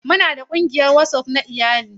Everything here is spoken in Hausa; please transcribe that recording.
Muna da ƙungiyar WhatsApp na iyali.